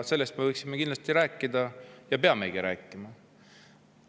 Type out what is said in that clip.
Sellest me võiksime kindlasti rääkida ja peamegi rääkima.